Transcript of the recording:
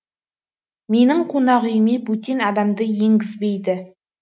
менің қонақүйіме бөтен адамды енгізбейді